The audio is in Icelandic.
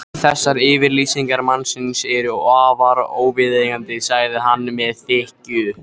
Þessar yfirlýsingar mannsins eru afar óviðeigandi sagði hann með þykkju.